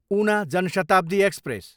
Una Jan Shatabdi express